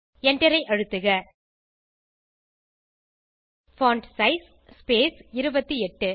enter ஐ அழுத்துக font size space 28